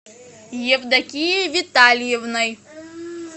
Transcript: евдокией витальевной